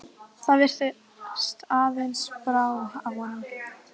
Það virðist aðeins brá af honum.